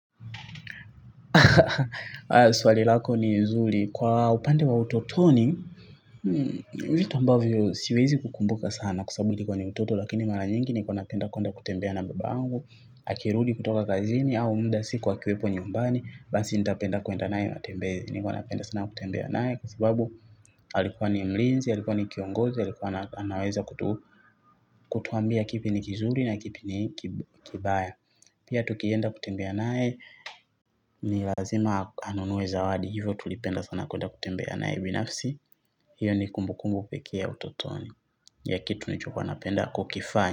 Swali lako ni zuli. Kwa upande wa utotoni vitu ambavyo siwezi kukumbuka sana kwa sababu nilikuwa mtoto. Lakini mara nyingi nilikuwa napenda kutembea na bebangu. Akirudi kutoka kazini au muda siku akiwepo nyumbani basi nitapenda kwenda naye matembezi. Nilikuwa napenda sana kutembea naye. Kwa sababu alikuwa ni mlinzi. Alikuwa ni kiongozi. Alikuwa anaweza kutuambia kipi ni kizuri na kipi ni kibaya. Pia tukienda kutembea naeye ni lazima anunue zawadi hivyo tulipenda sana kwenda kutembea naye binafsi hiyo ni kumbukumbu pekee ya utotoni ya kitu nilichokuwa napenda kukifanya.